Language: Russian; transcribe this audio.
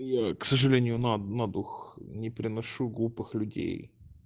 я к сожалению на на дух не переношу глупых людей